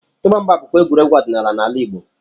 Ịgba mgba bụkwa egwuregwu ọdịnala n'ala Igbo.